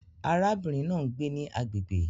Arábìnrin náà ń gbé ní agbègbè